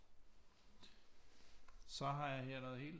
Så har jeg her noget helt